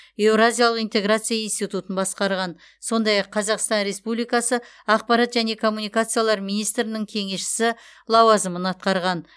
еуразиялық интеграция институтын басқарған сондай ақ қазақстан республикасы ақпарат және коммуникациялар министрінің кеңесшісі лауазымын атқарған